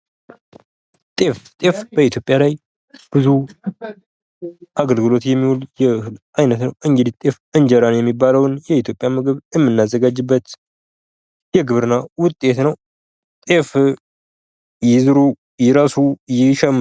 ጤፍ ጤፍ በኢትዮጵያ ላይ ብዙ አገልግሎት የሚውል የእህል አይነት ነው። እንግዲህ ጤፍ እንጀራ የሚባለውን የኢትዮጵያ ምግብ የመናዘጋጅበት የግብርና ውጤት ነው። ጤፍ ይዝሩ ይረሱ ይሸምቱ።